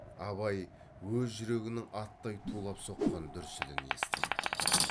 абай өз жүрегінің аттай тулап соққан дүрсілін естіді